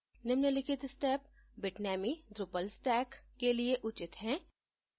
निम्नलिखित steps bitnami drupal stack के लिए उचित हैं